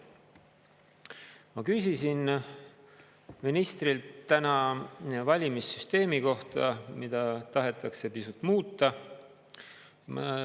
Ma küsisin ministrilt täna valimissüsteemi kohta, mida tahetakse pisut muuta.